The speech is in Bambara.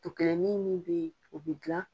Tu kelen nin min bɛ ye u bɛ gilan.